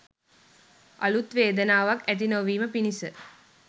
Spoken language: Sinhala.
අලුත් වේදනාවක් ඇති නොවීම පිණිස